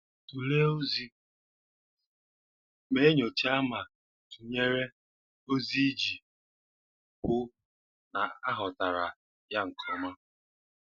Tulee Ozi: Mee nyoocha ma tunyere ozi iji hụ na aghọtara ya nke ọma.